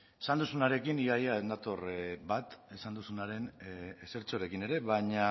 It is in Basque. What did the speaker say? esan duzunarekin ia ia ez nator bat esan duzunaren ezertxorekin ere baina